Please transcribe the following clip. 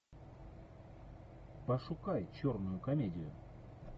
пошукай черную комедию